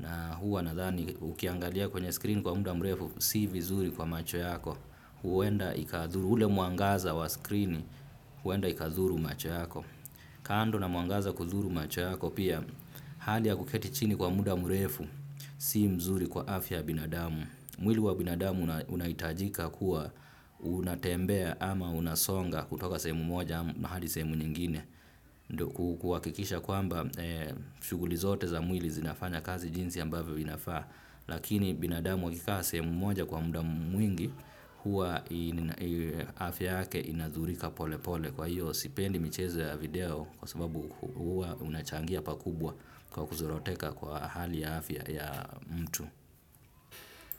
Na huwa na zani ukiangalia kwenye screen kwa muda mrefu, si vizuri kwa macho yako. Ule mwangaza wa screen huwenda ikadhuru macho yako. Kando na mwangaza kudhuru macho yako pia hali ya kuketi chini kwa muda mrefu si nzuri kwa afya binadamu. Mwili wa binadamu unahitajika kuwa unatembea ama unasonga kutoka sehemu moja hadi sehemu nyingine. Kuakikisha kwamba shughuli zote za mwili zinafanya kazi jinsi ambavyo inafaa. Lakini binadamu wakikaa sehemu moja kwa muda mwingi huwa afya yake inadhurika pole pole kwa hiyo sipendi michezo video kwa sababu huwa inachangia pakubwa kwa kuzoroteka kwa hali ya afya ya mtu.